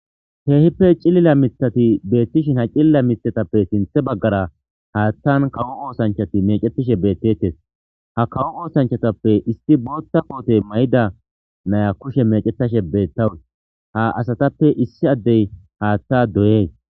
heehippe cilila mithati beettishin ha cilila mithatappe sinthe baggara haattan kawo oosanchati mecetishe beettettes ha kawo oosanchatappe isti bootta kootey may7ida naya kushe mecetashe beettawus ha asatappe issi addey haatta doyee